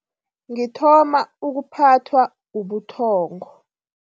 Ngithoma ukuphathwa ubuthongo.